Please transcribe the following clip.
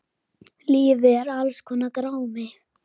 Lífið er alls konar grámi.